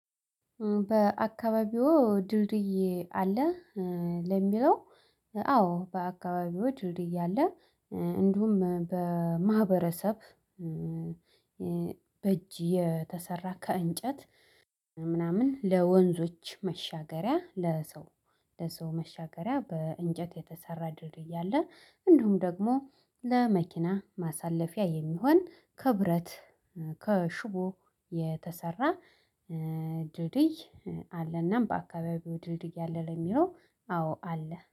በአካባቢዎ ድልድይ አለ። ለሚለው አዎ በአካባቢው ድልድይ ድልድይ አለ። እ እንዲሁም በማህበረሰብ እ በእጅ የተሰራ ከእንጨት ምናምን ለወንዞች መሻገሪያ ለሰው ለሰው መሻገሪያ በእንጨት የተሰራ ድልድይ። ያለ እንደውም ደግሞ ለመኪና ማሳለፊያ የሚሆን ከብረት እ ከሽቦ የተሰራ እ ድልድይ አለና በአካባቢው ድልድይ ያለ ለሚለው አዎ አለ።